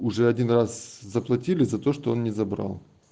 уже один раз заплатили за то что он не забрал